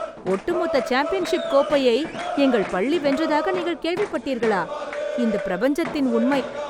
ஒட்டுமொத்த சாம்பியன்ஷிப் கோப்பையை எங்கள் பள்ளி வென்றதாக நீங்கள் கேள்விப்பட்டீர்களா! இந்த பிரபஞ்சத்தின் உண்மை